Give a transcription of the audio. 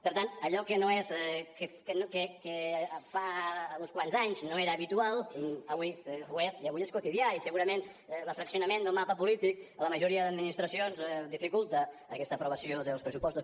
per tant allò que fa uns quants anys no era habitual avui ho és i avui és quotidià i segurament el fraccionament del mapa polític a la majoria d’administracions dificulta aquesta aprovació dels pressupostos